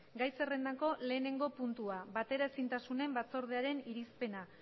gai zerrendako lehenengo puntua bateraezintasunen batzordearen irizpena